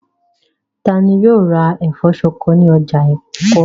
Ta ni yóò ra ẹ̀fọ́ ṣọkọ ní ọjà Èkó?